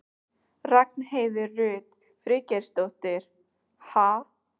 Ragnheiður Rut Friðgeirsdóttir: Ha?